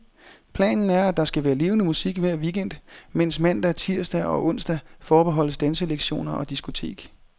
Planen er, at der skal være levende musik hver weekend, mens mandag, tirsdag og onsdag forbeholdes danselektioner og diskotek.